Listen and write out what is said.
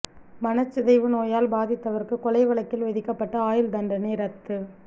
மனச்சிதைவு நோயால் பாதித்தவருக்கு கொலை வழக்கில் விதிக்கப்பட்ட ஆயுள் தண்டனை ரத்து